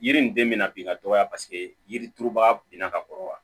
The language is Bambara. Yiri nin den bɛna bin ka dɔgɔya paseke yiri turubaga binna ka kɔrɔ wa